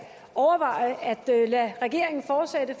lade regeringen fortsætte